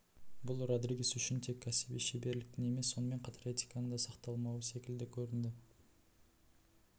бұл родригес үшін тек кәсіби шеберліктің емес сонымен қатар этиканың да сақталмауы секілді көрінді